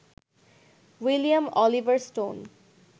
William Oliver stone